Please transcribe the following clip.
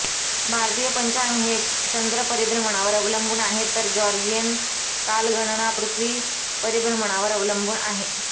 भारतीय पंचाग हे चंद्र परिभ्रमणावर अवलंबून आहे तर जाॕर्जियन कालगणणा पृथ्वी परिभ्रमणावर अवलंबून आहे